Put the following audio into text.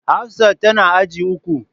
Hafsat tana agi uku.